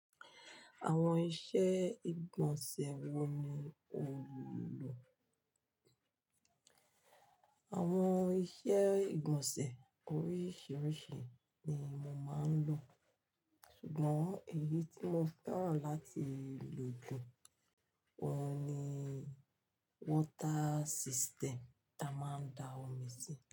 Àwọn iṣẹ́ ìgbọ̀nsẹ̀ wo ni ò ń lò? Àwọn iṣẹ́ ìgbọ̀nsẹ̀ oríṣiríṣi ni mo máa ń lò, ṣùgbọ́n èyí tí mo fẹ́ràn láti lò jù wọ́n ni water system tí a máa ń da omi sí.